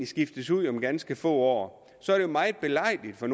skiftes ud om ganske få år så er det jo meget belejligt for